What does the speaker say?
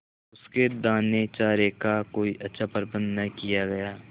उसके दानेचारे का कोई अच्छा प्रबंध न किया गया